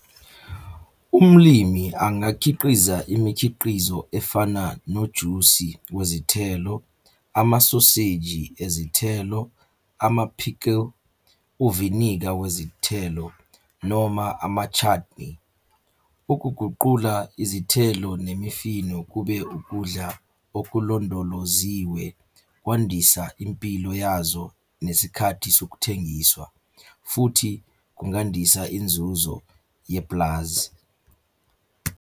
Umlimi angakhiqiza imikhiqizo efana nojusi wezithelo, amasoseji ezithelo, ama-pickle, uviniga wezithelo noma ama-chutney. Ukuguqula izithelo nemifino kube ukudla okulondoloziwe kwandisa impilo yazo nesikhathi sokuthengiswa, futhi kungandisa inzuzo yepulazi.